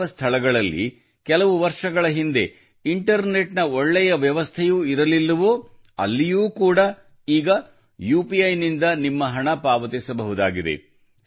ಯಾವ ಸ್ಥಳಗಳಲ್ಲಿ ಕೆಲವರ್ಷಗಳ ಹಿಂದೆ ಇಂಟರ್ನೆಟ್ ನ ಒಳ್ಳೆಯ ವ್ಯವಸ್ಥೆಯೂ ಇರಲಿಲ್ಲವೋ ಅಲ್ಲಿಯೂ ಕೂಡ ಈಗ ಯುಪಿಐ ನಿಂದ ನಿಮ್ಮ ಹಣ ಪಾವತಿಸಬಹುದಾಗಿದೆ